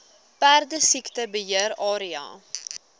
perdesiekte beheer area